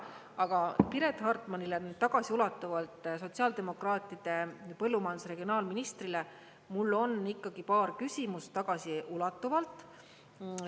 Aga Piret Hartmanile tagasiulatuvalt, sotsiaaldemokraatide põllumajandusregionaalministrile mul on ikkagi paar küsimust tagasiulatuvalt.